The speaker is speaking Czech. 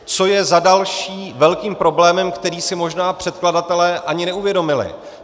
Co je za další velkým problémem, který si možná předkladatelé ani neuvědomili.